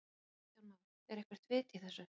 Kristján Már: Er eitthvert vit í þessu?